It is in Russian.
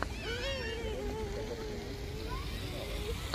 ты можешь показать фильмуху в духе криминала